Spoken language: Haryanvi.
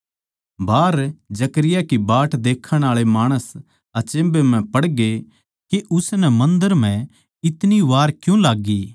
बाहर जकरयाह की बाट देक्खण आळे माणस अचम्भे म्ह पड़गे कै उसनै मन्दर म्ह इतनी वार क्यूँ लाग्गी